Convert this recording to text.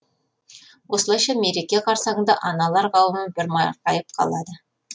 осылайша мереке қарсаңында аналар қауымы бір марқайып қалды